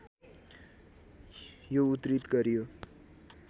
यो उद्धृत गरियो